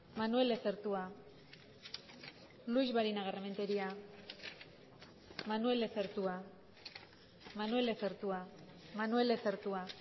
manuel lezertua luix barinagarrementeria manuel lezertua manuel lezertua manuel lezertua